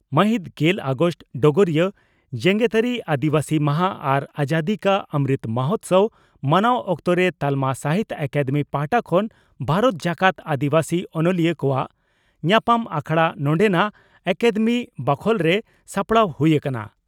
ᱢᱟᱹᱦᱤᱛ ᱜᱮᱞ ᱟᱜᱚᱥᱴ (ᱰᱚᱜᱚᱨᱤᱭᱟᱹ) ᱺ ᱡᱮᱜᱮᱛᱟᱹᱨᱤ ᱟᱹᱫᱤᱵᱟᱹᱥᱤ ᱢᱟᱦᱟᱸ ᱟᱨ ᱟᱡᱟᱫᱤ ᱠᱟ ᱚᱢᱨᱩᱛ ᱢᱚᱦᱚᱛᱥᱚᱵᱽ ᱢᱟᱱᱟᱣ ᱚᱠᱛᱚᱨᱮ ᱛᱟᱞᱢᱟ ᱥᱟᱦᱤᱛᱭᱚ ᱟᱠᱟᱫᱮᱢᱤ ᱯᱟᱦᱴᱟ ᱠᱷᱚᱱ ᱵᱷᱟᱨᱚᱛ ᱡᱟᱠᱟᱛ ᱟᱹᱫᱤᱵᱟᱹᱥᱤ ᱚᱱᱚᱞᱤᱭᱟᱹ ᱠᱚᱣᱟᱜ ᱧᱟᱯᱟᱢ ᱟᱠᱷᱲᱟ ᱱᱚᱰᱮᱱᱟᱜ ᱟᱠᱟᱫᱮᱢᱤ ᱵᱟᱠᱷᱚᱞᱨᱮ ᱥᱟᱯᱲᱟᱣ ᱦᱩᱭ ᱟᱠᱟᱱᱟ ᱾